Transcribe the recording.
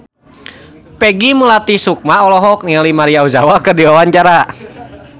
Peggy Melati Sukma olohok ningali Maria Ozawa keur diwawancara